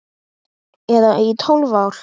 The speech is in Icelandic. Eða í tólf ár?